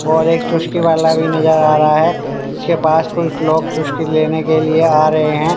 और एक चुस्की वाला भी नजर आ रहा है जिसके पास कोई लोग चुस्की लेने के लिए आ रहे हैं।